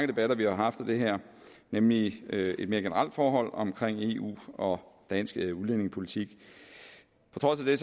debatter vi har haft om det her nemlig et mere generelt forhold om eu og dansk udlændingepolitik på trods af det